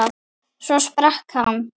Svo sprakk hann.